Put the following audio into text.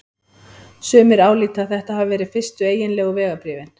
Sumir álíta að þetta hafi verið fyrstu eiginlegu vegabréfin.